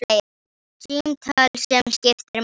Símtal sem skiptir máli